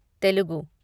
Telugu